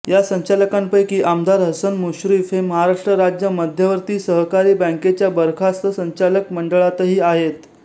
या संचालकांपैकी आमदार हसन मुश्रीफ हे महाराष्ट्र राज्य मध्यवर्ती सहकारी बँकेच्या बरखास्त संचालक मंडळातही आहेत